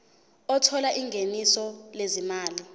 othola ingeniso lezimali